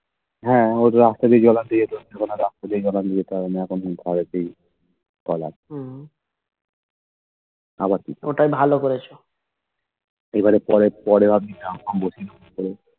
হে ওই রাস্তা দিয়ে জলান দিয়ে এখন রাস্তা দিয়ে জোলান দিয়ে যেতে হয় না এখন ঘরেতেই Call আছে